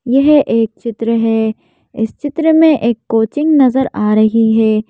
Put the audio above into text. यह एक चित्र है इस चित्र में एक कोचिंग नजर आ रही है।